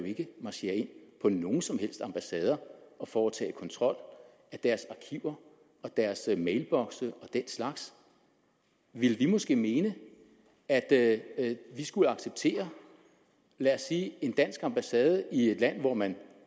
marchere ind på nogen som helst ambassader og foretage kontrol af deres arkiver og deres mailbokse og den slags ville vi måske mene at at vi skulle acceptere at lad os sige en dansk ambassade i et land hvor man